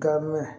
Gamɛ